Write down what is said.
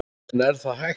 En er það hægt?